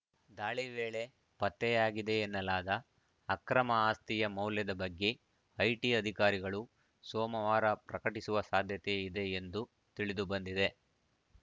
ದಾಳಿ ವೇಳೆ ಪತ್ತೆಯಾಗಿದೆ ಎನ್ನಲಾದ ಅಕ್ರಮ ಆಸ್ತಿಯ ಮೌಲ್ಯದ ಬಗ್ಗೆ ಐಟಿ ಅಧಿಕಾರಿಗಳು ಸೋಮವಾರ ಪ್ರಕಟಿಸುವ ಸಾಧ್ಯತೆ ಇದೆ ಎಂದು ತಿಳಿದುಬಂದಿದೆ